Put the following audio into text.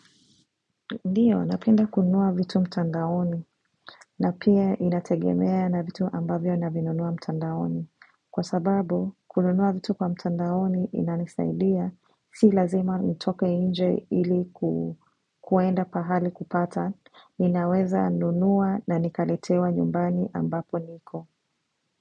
Ndiyo, napenda kununua vitu mtandaoni, na pia inategemea na vitu ambavyo navinunua mtandaoni. Kwa sababu, kununua vitu kwa mtandaoni inanisaidia, si lazima ntoke nje ili kuenda pahali kupata, ninaweza nunua na nikaletewa nyumbani ambapo niko.